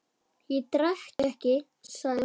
Ég drekk ekki, sagði hún.